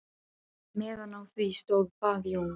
Meðan á því stóð bað Jón